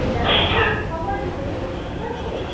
বিড়ালের হয়েছে ঠিক আছে